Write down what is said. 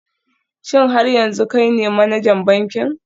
Shin har yanzu kai ne manajan bankin?